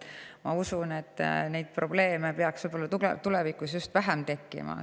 Ma usun, et neid probleeme peaks selle muudatusega seoses tulevikus just vähem tekkima.